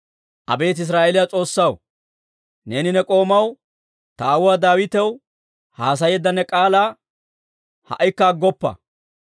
Abeet Israa'eeliyaa S'oossaw, neeni ne k'oomaw, ta aawuwaa Daawitaw haasayeedda ne k'aalaa ha"ikka aggoppa.